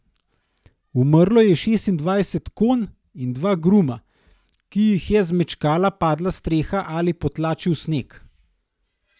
Umrlo je šestindvajset konj in dva gruma, ki jih je zmečkala padla streha ali potlačil sneg.